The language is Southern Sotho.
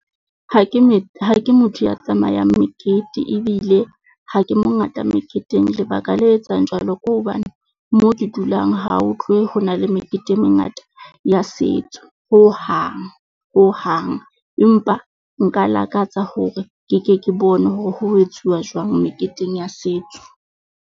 Ha ke ha ke motho ya tsamayang mekete, ebile ha ke mongata meketeng, lebaka le etsang jwalo ke hobane moo ke dulang ha ho tlohe ho na le mekete e mengata ya setso hohang, hohang. Empa nka lakatsa hore ke ke ke bone hore ho etsuwa jwang meketeng ya setso.